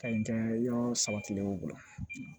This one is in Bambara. Ka ɲi yɔrɔ saba kilew bolo